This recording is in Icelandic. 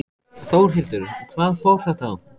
Þórhildur: Hvað fór þetta á?